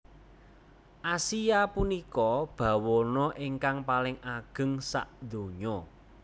Asia punika bawana ingkang paling ageng sadonya